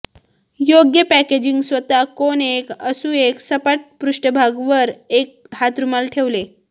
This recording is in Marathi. योग्य पॅकेजिंग स्वतः कोन एक असू एक सपाट पृष्ठभाग वर एक हातरुमाल ठेवले